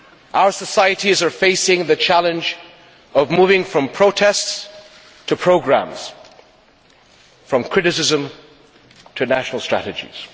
Our societies are facing the challenge of moving from protests to programmes, from criticism to national strategies.